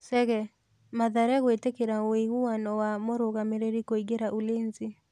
Chege: Mathare gwĩtĩkĩra wĩiguano wa mũrũgamĩriri kũingĩra Ulinzi.